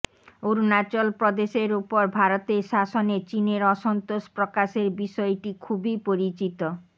অরুণাচল প্রদেশের ওপর ভারতের শাসনে চীনের অসন্তোষ প্রকাশের বিষয়টি খুবই পরিচিত